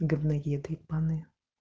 гавноеды ебаные